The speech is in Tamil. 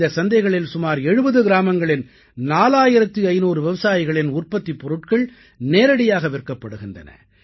இந்தச் சந்தைகளில் சுமார் 70 கிராமங்களின் 4500 விவசாயிகளின் உற்பத்திப் பொருள்கள் நேரடியாக விற்கப்படுகின்றன